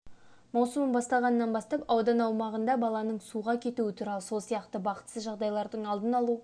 маусымы басталғаннан бастап аудан аумағында баланың суға кетуі туралы сол сияқты бақытсыз жағдайлардың алдын алу